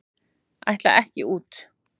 Ætla ekki út